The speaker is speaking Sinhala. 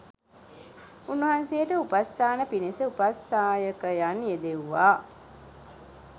උන්වහන්සේට උපස්ථාන පිණිස උපස්ථායකයන් යෙදෙව්වා